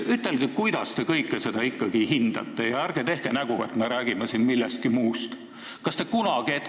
Ütelge, kuidas te seda kõike ikkagi hindate, ja ärge tehke nägu, et me räägime siin millestki muust!